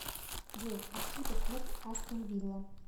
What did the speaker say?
джой откуда клуб астон вилла